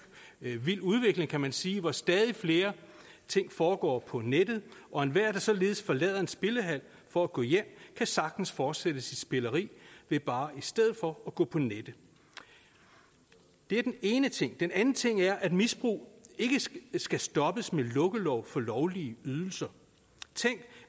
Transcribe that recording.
vild udvikling kan man sige hvor stadig flere ting foregår på nettet og enhver der således forlader en spillehal for at gå hjem kan sagtens fortsætte sit spilleri ved bare i stedet for at gå på nettet det er den ene ting den anden ting er at misbrug ikke skal stoppes med lukkelov for lovlige ydelser tænk